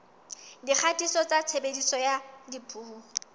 dikgatiso tsa tshebediso ya dipuo